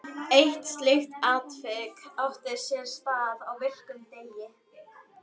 Eitt slíkt atvik átti sér stað á virkum degi.